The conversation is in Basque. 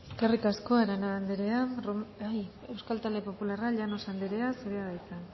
eskerrik asko arana anderea euskal talde popularra llanos anderea zurea da hitza